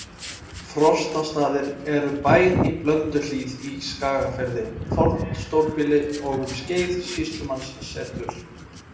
Frostastaðir eru bær í Blönduhlíð í Skagafirði, fornt stórbýli og um skeið sýslumannssetur.